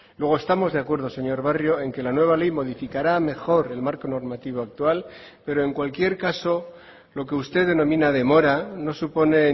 luego estamos de acuerdo señor barrio en que la nueva ley modificará a mejor el marco normativo actual pero en cualquier caso lo que usted denomina demora no supone